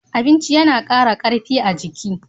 Abinchi yana kara karfi a jiki.